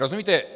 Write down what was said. Rozumíte?